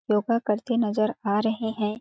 योगा करते नजर आ रहे हैं।